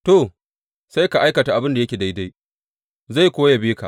To, sai ka aikata abin da yake daidai, zai kuwa yabe ka.